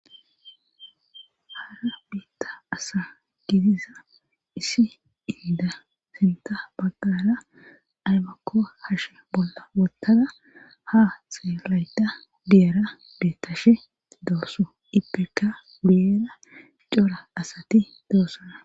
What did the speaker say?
Haara biitta asa gidiza issi inda sinta baggala aymakko hashe bolla wottada ha xeelayda diyara beettashe doosu ipeka wudiyeda cora asati doossona